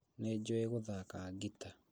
Nĩnjũĩ gũthaka ngita